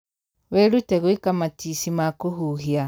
Wĩrute gwĩka matici ma kũhuhia.